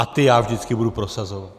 A ty já vždycky budu prosazovat.